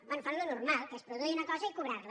bé fan el normal que és produir una cosa i cobrar la